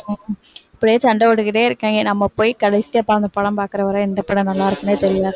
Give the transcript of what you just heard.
இப்படியே சண்ட போட்டுட்டே இருக்காங்க நாம போய் கடைசியா உக்காந்து படம் பாக்கற வரை எந்த படம் நல்லா இருக்குன்னே தெரியாது